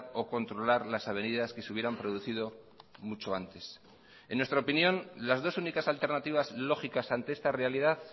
o controlar las avenidas que se hubieran producido mucho antes en nuestra opinión las dos únicas alternativas lógicas ante esta realidad